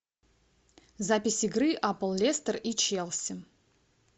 запись игры апл лестер и челси